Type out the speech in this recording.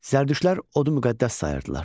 Zərdüştlər odu müqəddəs sayırdılar.